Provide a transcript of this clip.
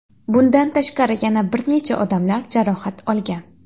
Bundan tashqari yana bir necha odamlar jarohat olgan.